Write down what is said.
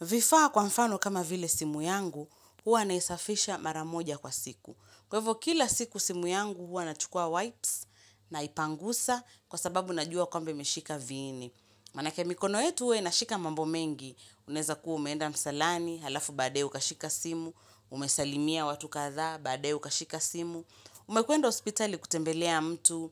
Vifaa kwa mfano kama vile simu yangu, huwa naisafisha maramoja kwa siku. Kwevo kila siku simu yangu huwa na chukua wipes na ipangusa kwa sababu najua kwamba imeshika viini. Manake mikono yetu huwa inashika mambo mengi. Unaeza kuwa umeenda msalani, halafu baadae ukashika simu, umesalimia watu kathaa, baadae ukashika simu. Umekwenda hospitali kutembelea mtu,